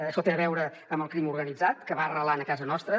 això té a veure amb el crim organitzat que va arrelant a casa nostra